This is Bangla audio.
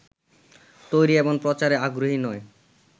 তৈরী এবং প্রচারে আগ্রহী নয়